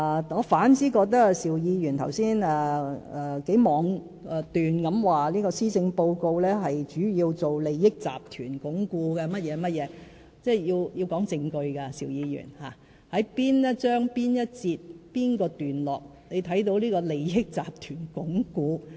我反而覺得，邵議員剛才妄斷地表示，施政報告主要是為鞏固利益集團云云，邵議員，凡事皆講求證據，你在哪一章、哪一節、哪一段看見鞏固利益集團？